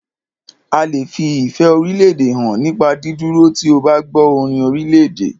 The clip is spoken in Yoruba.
A lè fi ìfẹ́ orílédè hàn nípa dídúró tí o bá gbọ́ orin orílèdè.